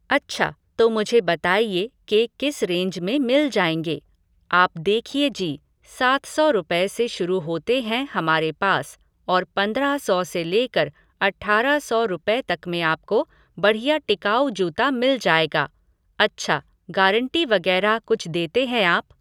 अच्छा, तो मुझे बताइए के किस रेंज में मिल जाएंगे? आप देखिए जी, सात सौ रुपए से शुरू होते हैं हमारे पास और पंद्रह सौ से लेकर अठारह सौ रुपए तक में आपको बढ़िया टिकाऊ जूता मिल जाएगा। अच्छा, गारंटी वगैरह कुछ देते हैं आप?